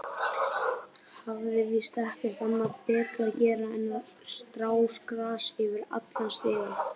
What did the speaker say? Hafði víst ekkert annað betra að gera en að strá grasi yfir allan stigann.